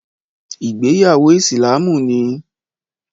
Ìgbéyàwó Ìsìlámù ni